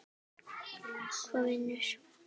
Hvaða vinnu?